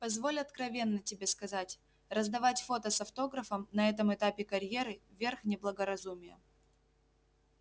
позволь откровенно тебе сказать раздавать фото с автографом на этом этапе карьеры верх неблагоразумия